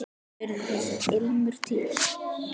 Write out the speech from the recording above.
Því urðu þessar limrur til.